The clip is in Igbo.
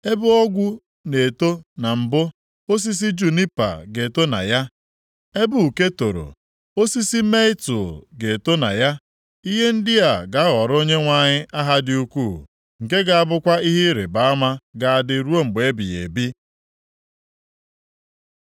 Ebe ogwu na-eto na mbụ, osisi junipa ga-eto na ya; ebe uke toro, osisi mietul ga-eto na ya. Ihe ndị a ga-aghọrọ Onyenwe anyị aha dị ukwuu, nke ga-abụkwa ihe ịrịbama ga-adị ruo mgbe ebighị ebi.”